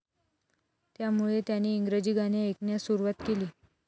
त्यामुळे त्याने इंग्रजी गाणे ऐकण्यास सुरुवात केली.